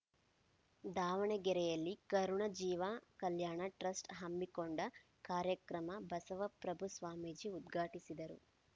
ದಾವಣಗೆರೆಯಲ್ಲಿ ಕರುಣ ಜೀವ ಕಲ್ಯಾಣ ಟ್ರಸ್ಟ್‌ ಹಮ್ಮಿಕೊಂಡ ಕಾರ್ಯಕ್ರಮ ಬಸವಪ್ರಭು ಸ್ವಾಮೀಜಿ ಉದ್ಘಾಟಿಸಿದರು